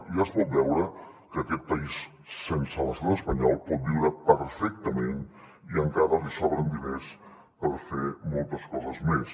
i ja es pot veure que aquest país sense l’estat espanyol pot viure perfectament i encara li sobren diners per fer moltes coses més